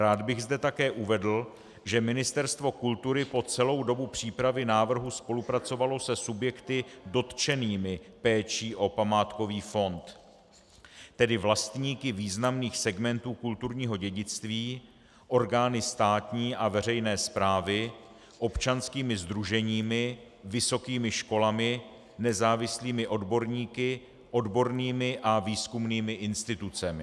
Rád bych zde také uvedl, že Ministerstvo kultury po celou dobu přípravy návrhu spolupracovalo se subjekty dotčenými péčí o památkový fond, tedy vlastníky významných segmentů kulturního dědictví, orgány státní a veřejné správy, občanskými sdruženími, vysokými školami, nezávislými odborníky, odbornými a výzkumnými institucemi.